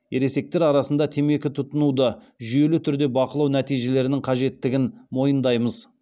ересектер арасында темекі тұтынуды жүйелі түрде бақылау нәтижелерінің қажеттігін мойындаймыз